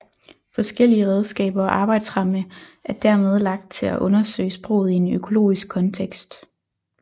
Forskellige redskaber og arbejdsramme er dermed lagt til at undersøge sproget i en økologisk kontekst